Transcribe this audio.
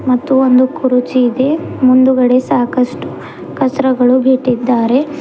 ಮತ್ತು ಒಂದು ಕುರುಚಿ ಇದೆ ಮುಂದ್ಗಡೆ ಸಾಕಷ್ಟು ಕಚ್ರಗಳು ಬಿಟ್ಟಿದ್ದಾರೆ.